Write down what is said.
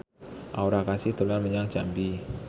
Aura Kasih dolan menyang Jambi